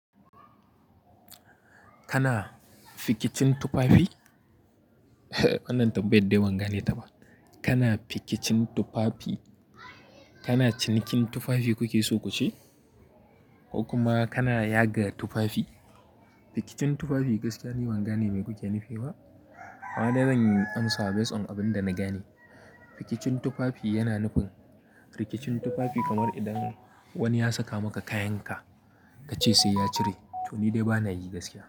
Kana fikicin tufafi? Wannan tambaya dai ban gane ta ba. Kana fikicin tufafi? Kana cinikin tufafi kuke so ku ce? Ko kuma kana yaga tufafi? Fikicin tufafi gaskiya ni ban gane mai kuke nufi ba! Amma dai zan amsa a based on abin da na gane. Fikicin tufafi yana nufin rikicin tufafi kamar idan wani ya saka maka kayanka ka ce sai ya cire to ni dai ba na yi gaskiya.